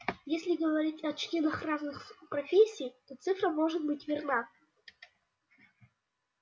если говорить о членах разных профессий то цифра может быть верна